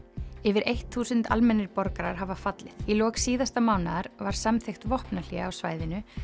yfir eitt þúsund almennir borgarar hafa fallið í lok síðasta mánaðar var samþykkt vopnahlé á svæðinu